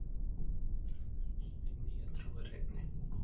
Hin nýja trú er hreinni.